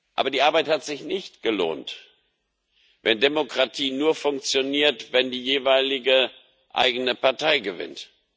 Aber die Arbeit hat sich nicht gelohnt, wenn Demokratie nur funktioniert, wenn die jeweilige eigene Partei gewinnt.